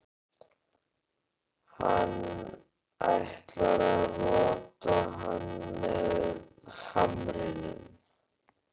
Hann ætlar að rota hann með hamrinum.